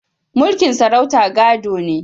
Mulkin sarauta gado ne